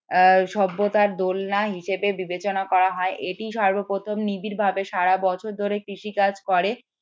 সভ্যতার দোলনা হিসেবে বিবেচনা করা হয় এটি সর্বপ্রথম নিবিড় ভাবে সারা বছর ধরে কৃষিকাজ করে